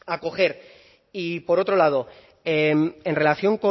acoger y por otro lado en relación